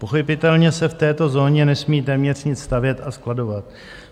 Pochopitelně se v této zóně nesmí téměř nic stavět a skladovat.